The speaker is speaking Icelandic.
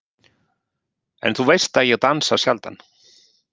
En þú veist að ég dansa sjaldan.